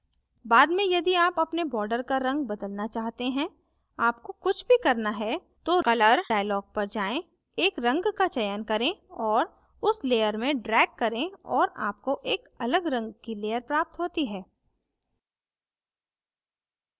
बाद में यदि आप अपने border का रंग बदलना चाहते हैं आपको कुछ भी करना है तो रंग dialog पर जाएँ एक रंग का चयन करें और उस layer में drag करें और आपको एक अलग रंग की layer प्राप्त होती है